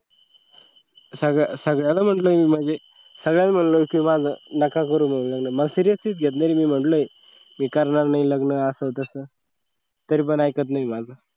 सगळ्याला म्हटलो की माझं नका करू लग्न seriously घेतलं आणि मी म्हटलं मी करणार नाही लग्न असं तसं तरीपण ऐकत नाही माझं